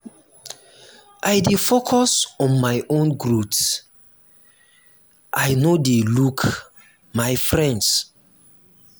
um i dey focus on my own growth i um no dey look um my friends.